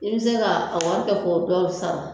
I bɛ se ka a wari kɛ k'o dɔw san